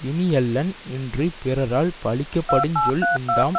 இனியனல்லன் இன்று பிறரால் பழிக்கப்படுஞ் சொல் உண்டாம்